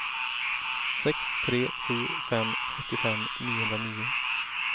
sex tre sju fem sjuttiofem niohundranio